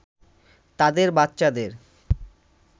তাদের বাচ্চাদের